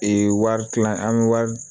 Ee wari kilan an bɛ wari